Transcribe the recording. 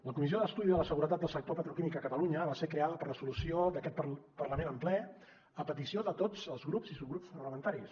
la comissió d’estudi de la seguretat del sector petroquímic a catalunya va ser creada per resolució d’aquest parlament en ple a petició de tots els grups i subgrups parlamentaris